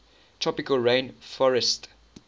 tropical rain forestt